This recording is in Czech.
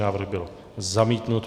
Návrh byl zamítnut.